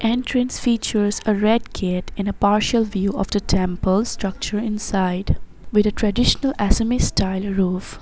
Entrance features a red gate and a partial view of the temple structure inside with a traditional assamese style roof.